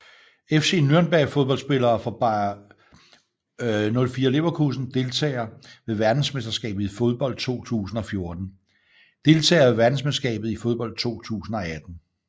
FC Nürnberg Fodboldspillere fra Bayer 04 Leverkusen Deltagere ved verdensmesterskabet i fodbold 2014 Deltagere ved verdensmesterskabet i fodbold 2018